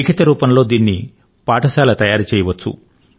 లిఖితరూపం లో దీనిని పాఠశాల తయారుచేయవచ్చు